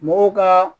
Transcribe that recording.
Mɔgɔw ka